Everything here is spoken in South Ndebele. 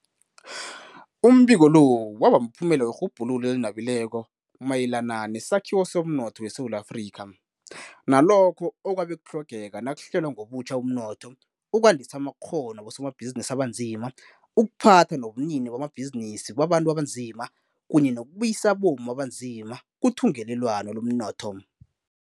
Umbiko lo wabamphumela werhubhululo elinabileko mayelana nesakhiwo somnotho weSewula Afrika nalokho okwabe kutlhogeka nakuhlelwa ngobutjha umnotho, ukwandisa amakghono wabosomabhizinisi abanzima, ukuphatha nobunini bamabhizinisi babantu abanzima kunye nokubuyisa abomma abanzima kuthungelelwano lomnotho.